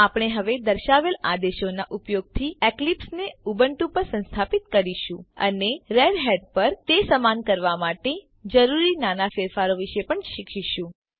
આપણે હવે દર્શાવેલ આદેશોનાં ઉપયોગથી એક્લીપ્સ ને ઉબુન્ટુ પર સંસ્થાપીત કરીશું અને રેડહેટ પર તે સમાન કરવા માટે જરૂરી નાના ફેરફારો વિશે પણ શીખીશું